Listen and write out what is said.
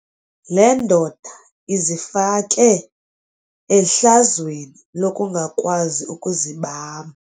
Le ndoda izifake ehlazweni lokungakwazi ukuzibamba.